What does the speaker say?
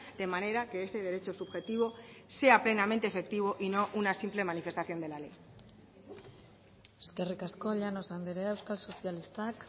de manera que ese derecho subjetivo sea plenamente efectivo y no una simple manifestación de la ley eskerrik asko llanos andrea euskal sozialistak